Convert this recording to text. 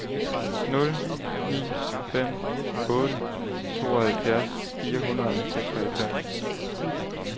nul ni fem otte tooghalvfjerds fire hundrede og seksoghalvfems